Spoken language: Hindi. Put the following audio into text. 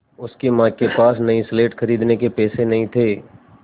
उसकी माँ के पास नई स्लेट खरीदने के पैसे नहीं थे